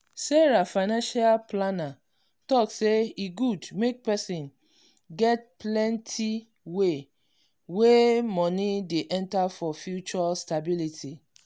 sarah financial planner talk say e good make person get plenti way wey money dey enter for future stability.